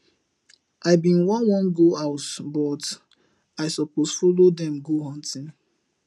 i bin wan wan go house but i suppose follow dem go hunting